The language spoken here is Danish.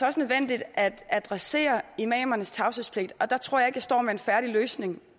også nødvendigt at adressere imamernes tavshedspligt og der tror jeg står med en færdig løsning